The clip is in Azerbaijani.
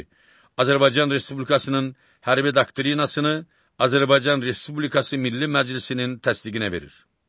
Azərbaycan Respublikasının hərbi doktrinasını Azərbaycan Respublikası Milli Məclisinin təsdiqinə verir.